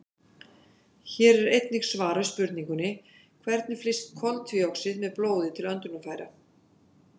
Hér er einnig svar við spurningunni: Hvernig flyst koltvíoxíð með blóði til öndunarfæra?